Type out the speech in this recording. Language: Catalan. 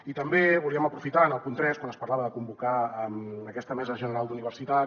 i també volíem aprofitar en el punt tres quan es parlava de convocar aquesta mesa general d’universitats